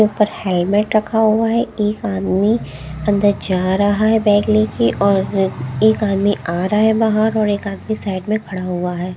ऊपर हेलमेट रखा हुआ है एक आदमी अंदर जा रहा है बैग लेके और एक आदमी आ रहा है बाहर और एक आदमी साइड में खड़ा हुआ है।